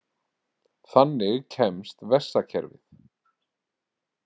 Þannig kemst vessakerfið.